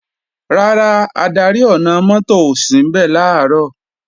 Rárá, adarí ọ̀nà-mọ́tò ò sínbẹ̀ làárọ̀